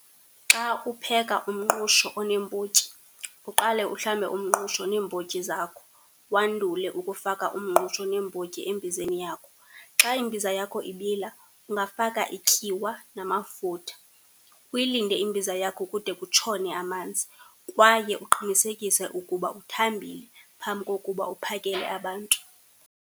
Xa upheka umngqusho oneembotyi, uqale uhlambe umngqusho neembotyi zakho, wandule ukufaka umngqusho neembotyi embizeni yakho. Xa imbiza yakho ibila ungafaka ityiwa namafutha. Uyilinde imbiza yakho kude kutshone amanzi. Kwaye uqinisekise ukuba uthambile phambi kokuba uphakele abantu.